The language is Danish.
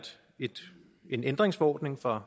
en ændringsforordning fra